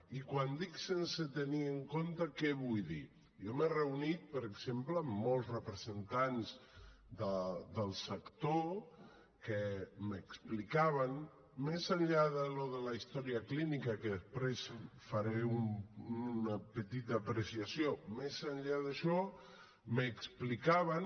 i quan dic sense tenir en compte què vull dir jo m’he reunit per exemple amb molts representants del sector que m’explicaven més enllà d’això de la història clínica que després faré una petita apreciació més enllà d’això m’explicaven